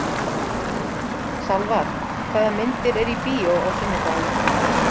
Salvar, hvaða myndir eru í bíó á sunnudaginn?